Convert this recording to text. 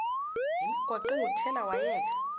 lemigwaqo engothela wayeka